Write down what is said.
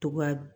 To ka